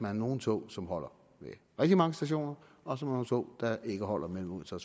er nogle tog som holder ved rigtig mange stationer og så nogle tog der ikke holder mellem odense og